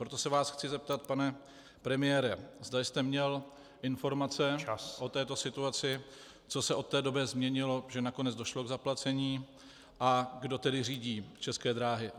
Proto se vás chci zeptat, pane premiére, zda jste měl informace o této situaci , co se od té doby změnilo, že nakonec došlo k zaplacení, a kdo tedy řídí České dráhy.